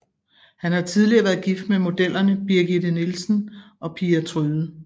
Han har tidligere været gift med modellerne Brigitte Nielsen og Pia Tryde